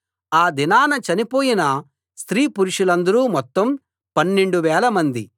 ఆ దినాన్న చనిపోయిన స్త్రీ పురుషులందరు మొత్తం పన్నెండు వేలమంది